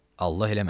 Allah eləməsin.